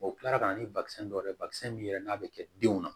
kila ka na ni basɛn dɔw ye bakisɛ min yɛrɛ n'a bɛ kɛ denw na